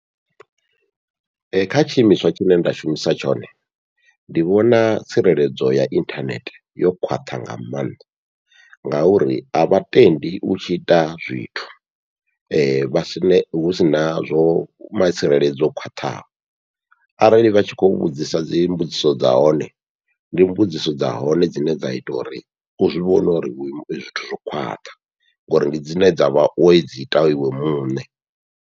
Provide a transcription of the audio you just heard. Kha tshiimiswa tshine nda shumisa tshone, ndi vhona tsireledzo ya inthanethe yo khwaṱha nga maanḓa, ngauri avha tendi u tshi ita zwithu vha sie husina zwo ma tsireledzo o khwaṱhaho, arali vha tshi kho vhudzisa dzi mbudziso dza hone ndi mbudziso dza hone dzine dza ita uri u zwi vhona uri uri zwithu zwo khwaṱha ngori ndi dzine dzavha wo dzi ita iwe muṋe.